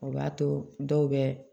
O b'a to dɔw bɛ